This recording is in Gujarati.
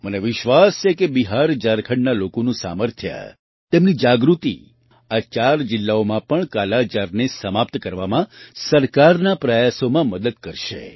મને વિશ્વાસ છે કે બિહાર ઝારખંડના લોકોનું સામર્થ્ય તેમની જાગૃતિ આ ચાર જિલ્લાઓમાં પણ કાલાજારને સમાપ્ત કરવામાં સરકારના પ્રયાસોમાં મદદ કરશે